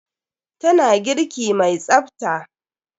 Tana girki mai tsafta.